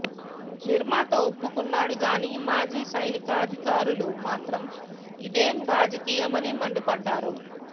నిర్మాత ఒప్పుకున్నాడు గాని మాజీ సైనికాధికారులు మాత్రం ఇదేం రాజకీయమని మండిపడ్డారు